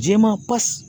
Jɛman pasi